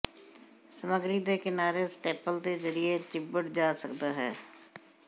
ਸਮੱਗਰੀ ਦੇ ਕਿਨਾਰੇ ਸਟੇਪਲ ਦੇ ਜ਼ਰੀਏ ਚਿੰਬੜ ਜਾ ਸਕਦਾ ਹੈ